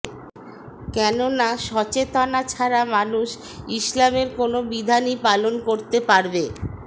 কেননা সচেতনা ছাড়া মানুষ ইসলামের কোনো বিধানই পালন করতে পারবে